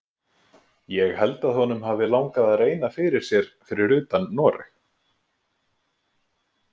Ég held að honum hafi langað að reyna fyrir sér fyrir utan Noreg.